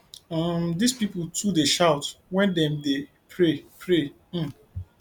um dis people too dey shout wen dem dey pray pray um